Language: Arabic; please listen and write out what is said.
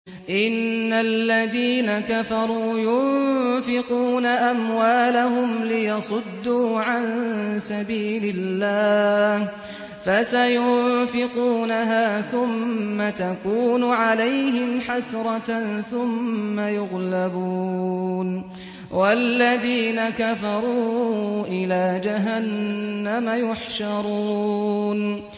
إِنَّ الَّذِينَ كَفَرُوا يُنفِقُونَ أَمْوَالَهُمْ لِيَصُدُّوا عَن سَبِيلِ اللَّهِ ۚ فَسَيُنفِقُونَهَا ثُمَّ تَكُونُ عَلَيْهِمْ حَسْرَةً ثُمَّ يُغْلَبُونَ ۗ وَالَّذِينَ كَفَرُوا إِلَىٰ جَهَنَّمَ يُحْشَرُونَ